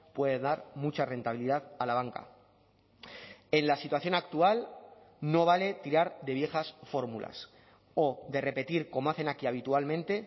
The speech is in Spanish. puede dar mucha rentabilidad a la banca en la situación actual no vale tirar de viejas fórmulas o de repetir como hacen aquí habitualmente